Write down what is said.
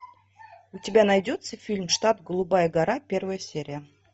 у тебя найдется фильм штаб голубая гора первая серия